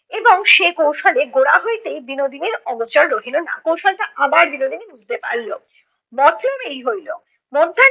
এবং সে কৌশলে গোড়া হইতেই বিনোদিনীর অগোচর রহিলো না। কৌশল্টা আবার বিনোদিনী বুঝতে পারলো। মতলব এই হইলো - মধ্যাহ্নে